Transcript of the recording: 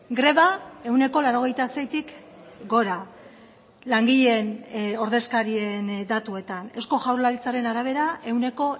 greba ehuneko laurogeita seitik gora langileen ordezkarien datuetan eusko jaurlaritzaren arabera ehuneko